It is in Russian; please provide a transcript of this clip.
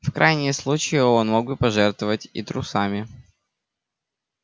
в крайнем случае он мог бы пожертвовать и трусами